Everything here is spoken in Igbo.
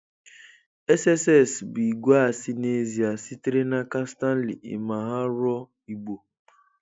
SSS bụ igwe asị n'ezie, sitere n'aka Stanley Imhanruor Igbo.